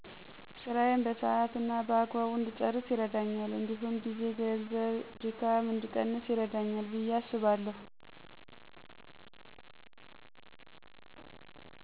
ስራየን በሰሀት እና በአግባቡ እድጨረስ ይርደኛል እዲሁም ጊዜ፣ ገንዘብ፣ ድካም እድቀንስ ይረዳኛል። ብየ አስባለሁ።